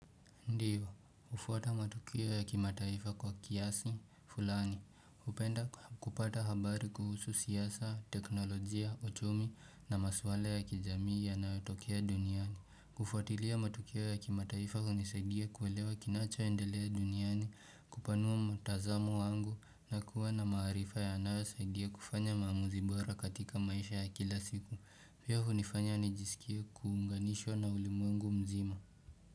Ndiyo, hufuata matukio ya kimataifa kwa kiasi, fulani, hupenda kupata habari kuhusu siasa, teknolojia, uchumi na maswala ya kijamii yanayotokea duniani. Kufuatilia matukio ya kimataifa hunisaidia kuelewa kinachoendelea duniani, kupanua mtazamo wangu na kuwa na maaarifa yanayosaidia kufanya maamuzi bora katika maisha ya kila siku. Pia hunifanya nijisikie kuunganishwa na ulimwengu mzima.